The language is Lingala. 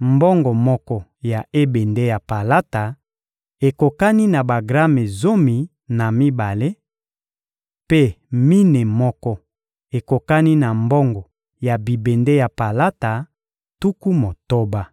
Mbongo moko ya ebende ya palata ekokani na bagrame zomi na mibale, mpe mine moko ekokani na mbongo ya bibende ya palata, tuku motoba.